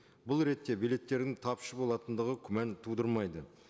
бұл ретте билеттердің тапшы болатындығы күмән тудырмайды